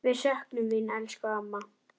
Við söknum þín, elsku amma.